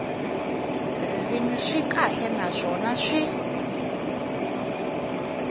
ririmi swi kahle naswona swi